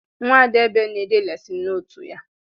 Nwada Abel na-ede lesin notu ya